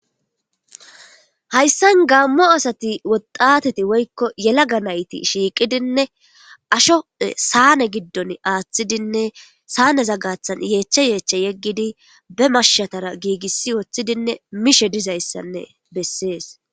Hayssan gaammo asati woxateti woykko yelaga nayti shiiqidinne asho saane giddon aaththidinne saane za gathan yeecha yeeche yeggidi be marshatara giigissi wooththidinne mishe dizayssanne bessees.